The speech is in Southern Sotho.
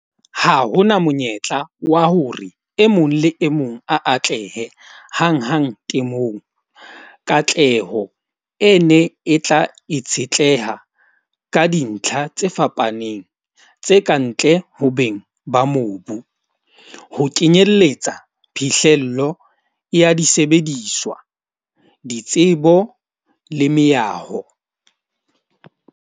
Ha hona monyetla wa hore e mong le e mong a atlehe hanghang temong. Katleho e ne e tla itshetleha ka dintlha tse fapaneng tse kantle ho beng ba mobu. Ho kenyelletsa phihlello ya disebediswa, ditsebo le meaho.